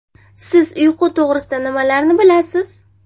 Siz uyqu to‘g‘risida nimalarni bilasiz?